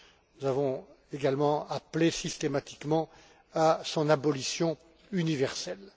Nous avons également appelé systématiquement à son abolition universelle.